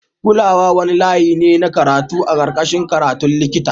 Kulawa wani layi ne na karatu a karkashin a karatun likita.